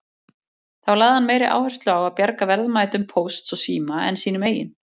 Þá lagði hann meiri áherslu á að bjarga verðmætum Pósts og síma en sínum eigin.